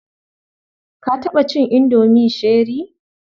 Ka taɓa cin indomi cherie?